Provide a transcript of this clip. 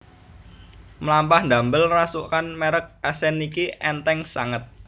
Mlampah ndamel rasukan merk Accent niki entheng sanget